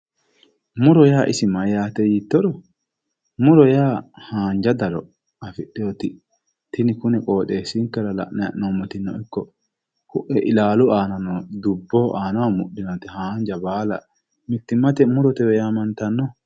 Muro yaa isi mayyaate yiittoro, muro yaa haanja daro afidhewooti tini kune qooxeessinkera la'nayi hee'noommotino ikko koe ilaalu aano noo dubboho aanaho mudhinoti haanja baala mittimmate murotewe yaamantanno.